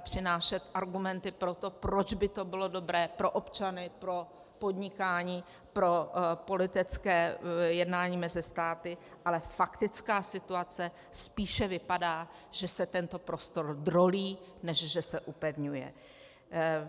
přinášet argumenty pro to, proč by to bylo dobré pro občany, pro podnikání, pro politické jednání mezi státy, ale faktická situace spíše vypadá, že se tento prostor drolí než že se upevňuje.